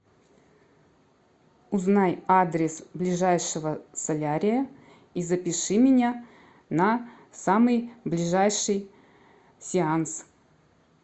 узнай адрес ближайшего солярия и запиши меня на самый ближайший сеанс